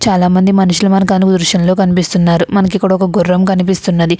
చాలామంది మనుషులు మనకి అనుభవిషన్లలో కనిపిస్తున్నారు మనకి ఇక్కడ ఒక గుర్రం కనిపిస్తున్నది.